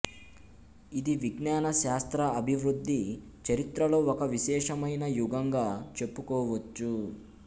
ఇది విజ్ఞాన శాస్త్ర అభివృద్ధి చరిత్రలో ఒక విశేషమైన యుగంగా చెప్పుకోవచ్చు